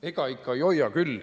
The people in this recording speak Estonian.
Ega ikka ei hoia küll.